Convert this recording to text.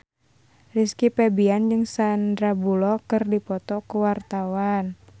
Rizky Febian jeung Sandar Bullock keur dipoto ku wartawan